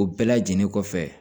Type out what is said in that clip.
O bɛɛ lajɛlen kɔfɛ